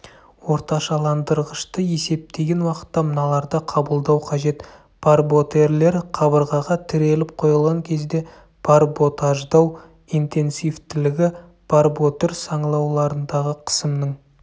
орташаландырғышты есептеген уақытта мыналарды қабылдау қажет барботерлер қабырғаға тіреліп қойылған кезде барботаждау интенсивтілігі барботер саңылауларындағы қысымның